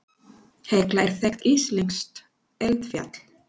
Hekla er þekkt íslenskt eldfjall.